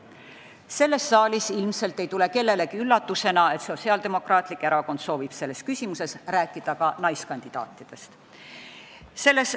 Selles saalis ilmselt ei tule kellelegi üllatusena, et Sotsiaaldemokraatlik Erakond soovib selles küsimuses rääkida ka naiskandidaatidest.